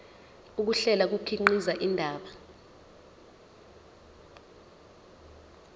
ukuhlela kukhiqiza indaba